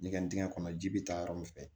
Ɲɛgɛn dingɛ kɔnɔ ji bi taa yɔrɔ min fɛ